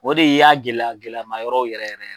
O de y'a gɛlɛya gɛlɛyama yɔrɔ yɛrɛ yɛrɛ